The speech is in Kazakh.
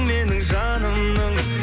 менің жанымның